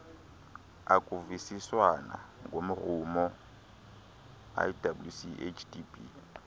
akuvisiswana ngomrhumo iwchdb